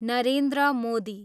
Narendra Modi